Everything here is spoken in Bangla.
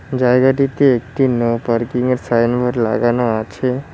জায়গাটিতে একটি নো পার্কিংয়ের সাইনবোর্ড লাগানো আছে।